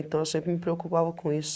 Então eu sempre me preocupava com isso.